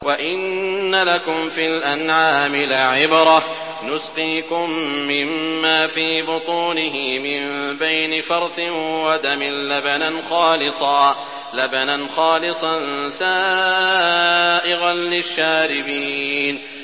وَإِنَّ لَكُمْ فِي الْأَنْعَامِ لَعِبْرَةً ۖ نُّسْقِيكُم مِّمَّا فِي بُطُونِهِ مِن بَيْنِ فَرْثٍ وَدَمٍ لَّبَنًا خَالِصًا سَائِغًا لِّلشَّارِبِينَ